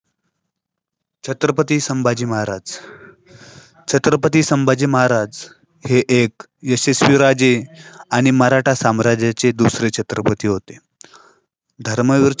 छत्रपती संभाजी महाराज छत्रपती संभाजी महाराज हे एक यशस्वी राजे आणि मराठा साम्राज्याचे दुसरे छत्रपती होते. धर्मवीर